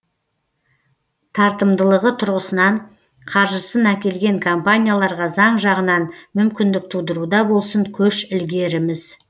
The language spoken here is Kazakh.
тартымдылығы тұрғысынан қаржысын әкелген компанияларға заң жағынан мүмкіндік тудыруда болсын көш ілгеріміз